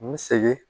N segin